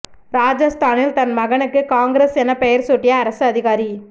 ராஜஸ்தானில் தன் மகனுக்கு காங்கிரஸ் எனப் பெயர் சூட்டிய அரசு அதிகாரி